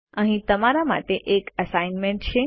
અહીં તમારા માટે એક એસાઈનમેન્ટ છે